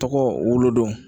Tɔgɔ wolodon